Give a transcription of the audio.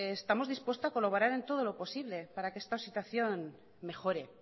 estamos dispuestos a colaborar en todo lo posible para que esta situación mejore